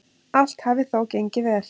Allt hafi þó gengið vel.